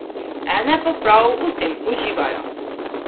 Ene pa prav v tem uživajo.